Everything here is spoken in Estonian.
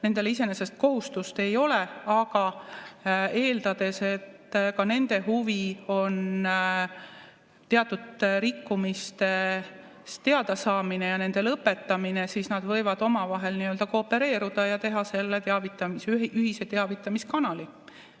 Nendel iseenesest kohustust ei ole, aga eeldades, et ka nende huvi on teatud rikkumistest teadasaamine ja nende lõpetamine, siis nad võivad omavahel koopereeruda ja teha selle ühise teavitamiskanali.